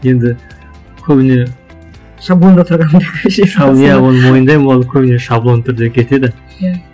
енді көбіне шаблонда тұрғанды оны мойындаймын ол көбіне шаблон түрде кетеді иә